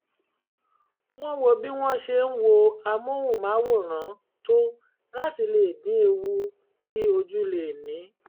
wọ́n wo bí wọ́n ṣe ń wo amóhùnmáwòrán tó láti lè dín ewu tí ojú lè ní